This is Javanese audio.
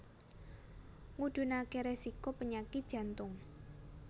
Ngudhunake resiko penyakit jantung